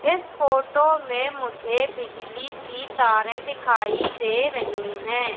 इस फोटो में मुझे बिजली की तारे दिखाई दे रही है।